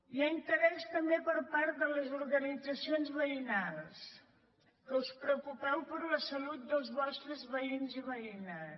hi ha interès també per part de les organitzacions veï nals que us preocupeu per la salut dels vostres veïns i veïnes